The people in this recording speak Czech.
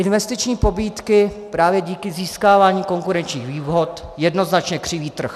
Investiční pobídky právě díky získávání konkurenčních výhod jednoznačně křiví trh.